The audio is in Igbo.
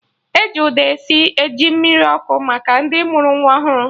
E ji ụda esi ji mmiri ọkụ maka ndị mụrụ nwa ọhụrụ